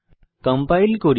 compile করি